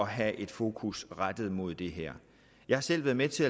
have et fokus rettet mod det her jeg har selv været med til